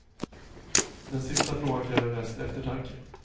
Den sista frågan kräver mest eftertanke.